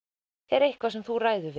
er eitthvað sem þú ræður